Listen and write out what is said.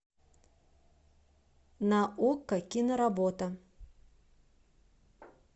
на окко киноработа